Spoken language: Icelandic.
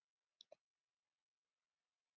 Heldur hann áfram með liðið?